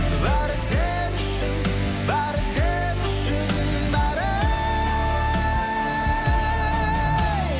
бәрі сен үшін бәрі сен үшін бәрі